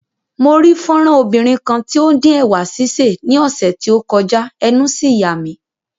Mo rí fọ́nrán obìnrin kan tí ó ń dín ẹ̀wà sísè ní ọ̀sẹ̀ tí ó kọjá, ẹnu sì yà mí.